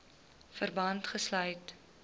verband gesluit